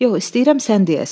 Yox, istəyirəm sən deyəsən.